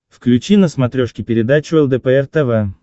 включи на смотрешке передачу лдпр тв